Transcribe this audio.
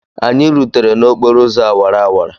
Anyị rutere n'okporo ụzọ awara awara.